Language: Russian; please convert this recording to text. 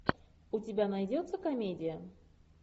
у тебя найдется комедия